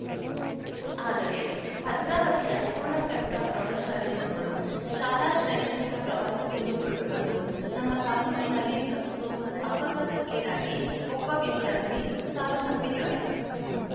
ಆದರೆ ಭದ್ರಾವತಿಯ ಪೂರ್ಣ ಪ್ರಜ್ಞಾ ಪ್ರೌಢಶಾಲೆ ಮಕ್ಕಳು ಶಾಲಾ ಶೈಕ್ಷಣಿಕ ಪ್ರವಾಸಕ್ಕೆಂದು ಹೊರಟು ಬಂದು ನಮ್ಮ ತಾಲೂಕಿನಲ್ಲಿ ಬಸ್ಸು ಅಪಘಾತಕ್ಕೀಡಾಗಿ ಒಬ್ಬ ವಿದ್ಯಾರ್ಥಿನಿ ಸಾವನ್ನಪ್ಪಿದ್ದಾಳೆ